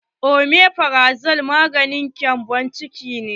Omefrazo maganin gembon ciki ne.